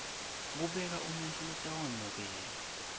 kubeka umuntfu lotawemukela